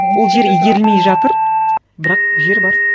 ол жер игерілмей жатыр бірақ жер бар